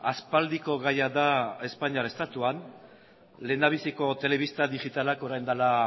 aspaldiko gaia da espainiar estatuan lehendabiziko telebista digitalak orain dela